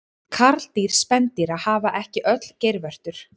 Karldýr spendýra hafa ekki öll geirvörtur.